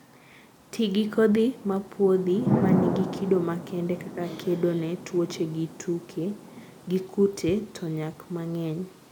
Tii gi kodhi mopuodhi manigi kido makende kaka kedo ne tuoche gi kute to nyak mang'eny